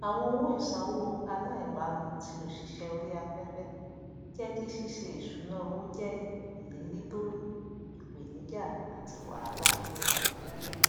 àwọn owó ìsanwó aláìbámu ti òsìsẹ oríaféfé jẹ kí ṣíṣe ìṣúná owó jẹ irírí tó ìpènijà àti wàhálà